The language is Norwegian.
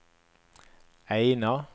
Eina